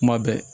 Kuma bɛɛ